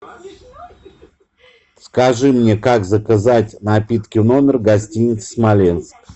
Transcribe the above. скажи мне как заказать напитки в номер гостиница смоленск